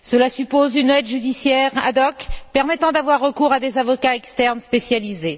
Cela suppose une aide judiciaire ad hoc permettant d'avoir recours à des avocats externes spécialisés.